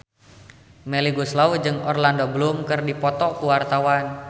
Melly Goeslaw jeung Orlando Bloom keur dipoto ku wartawan